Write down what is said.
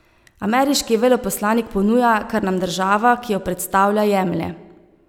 Ameriški veleposlanik ponuja, kar nam država, ki jo predstavlja, jemlje.